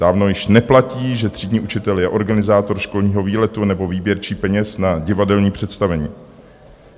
Dávno již neplatí, že třídní učitel je organizátor školního výletu nebo výběrčí peněz na divadelní představení.